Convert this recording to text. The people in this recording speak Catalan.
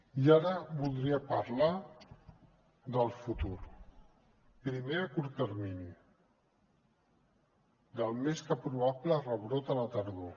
i ara voldria parlar del futur primer a curt termini del més que probable rebrot a la tardor